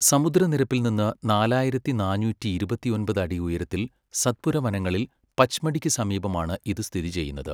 സമുദ്രനിരപ്പിൽ നിന്ന് നാലായിരത്തി നാന്നൂറ്റിയിരുപത്തൊമ്പത് അടി ഉയരത്തിൽ സത്പുര വനങ്ങളിൽ പച്മടിക്കു സമീപമാണ് ഇത് സ്ഥിതി ചെയ്യുന്നത്.